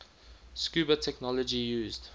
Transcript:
scuba technology used